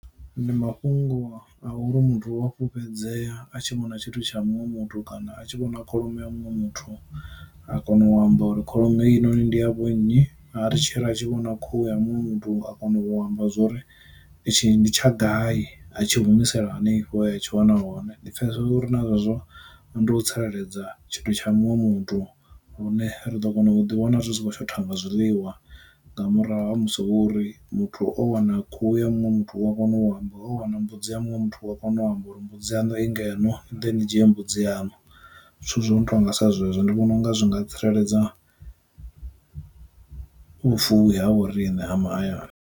Ndi mafhungo a uri muthu u a fhulufhedzea a tshi muṅwe na tshithu tsha muṅwe mutu kana a tshi vhona kholomo ya muṅwe muthu a kona u amba uri kholomo hei noni ndi ya vhonnyi, a ri tshila a tshi vhona khuhu ya muṅwe muthu nga a kona u amba zwori itshi ndi tsha gai a tshi humisela hanefho he a tshi wana hone. Ndi pfesesa uri na zwezwo ndi u tsireledza tshithu tsha muṅwe muthu lune ri ḓo kona u ḓi wana ri si kho shotha nga zwiḽiwa nga murahu ha musi o uri muthu o wana khuhu ya muṅwe muthu wa kona u amba, o wana mbudzi ya muṅwe muthu u wa kona u amba uri mbudzi yanu i ngeno ni ḓe ni dzhie mbudzi yanu, zwithu zwo no tonga sa zwezwo ndi vhona unga zwi nga tsireledza vhu fuwi ha vho rine ha mahayani.